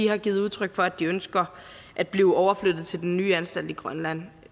har givet udtryk for at de ønsker at blive overflyttet til den nye anstalt i grønland